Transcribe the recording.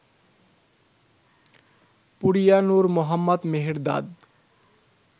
Puriya Nour Mohammad Mehrdad